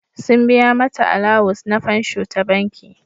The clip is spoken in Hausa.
Sun biya mata alawus ns fansho ta banki.